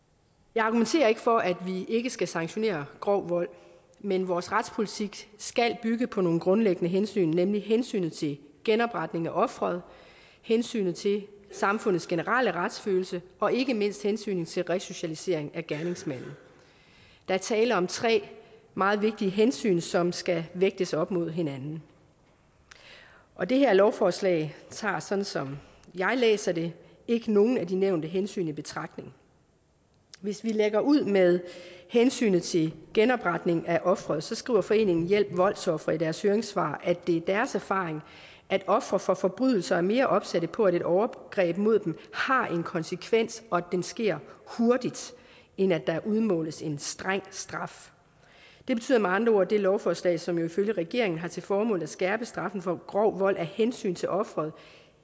jeg argumenterer ikke for at vi ikke skal sanktionere grov vold men vores retspolitik skal bygge på nogle grundlæggende hensyn nemlig hensynet til genopretning af offeret hensynet til samfundets generelle retsfølelse og ikke mindst hensynet til resocialisering af gerningsmanden der er tale om tre meget vigtige hensyn som skal vægtes op imod hinanden og det her lovforslag tager sådan som jeg læser det ikke nogen af de nævnte hensyn i betragtning hvis vi lægger ud med hensynet til genopretning af offeret skriver foreningen hjælp voldsofre i deres høringssvar at det er deres erfaring at ofre for forbrydelser er mere opsatte på at et overgreb mod dem har en konsekvens og at den sker hurtigt end at der udmåles en streng straf det betyder med andre ord at det lovforslag som jo ifølge regeringen har til formål at skærpe straffen for grov vold af hensyn til offeret